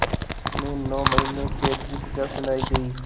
उन्हें नौ महीने क़ैद की सज़ा सुनाई गई